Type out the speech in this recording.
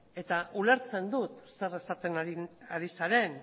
eta ulertzen dut zer esaten ari zaren